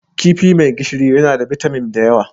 Kifi mai gishiri yana da bitamin da yawa.